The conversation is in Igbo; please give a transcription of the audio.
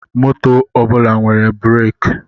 Moto ọbụla nwere bụraki